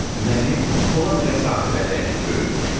Məni Polad ilə Sahibəli əkib böyütmüşdü.